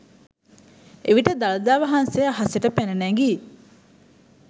එවිට දළදා වහන්සේ අහසට පැන නැගී